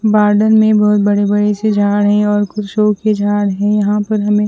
बार्डन में बहोत बड़े बड़े से झाड़ है और कुछ झाड़ है यहां पर हमे--